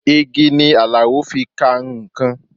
Igi ni Alao fi ka nǹkan